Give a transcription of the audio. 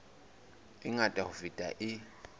e ngata ho feta e